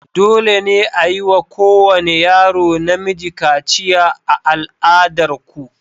Dole ne a yi wa kowane yaro namiji kaciya a al'adar ku?